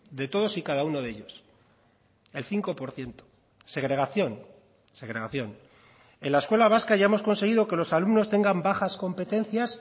de todos y cada uno de ellos el cinco por ciento segregación segregación en la escuela vasca ya hemos conseguido que los alumnos tengan bajas competencias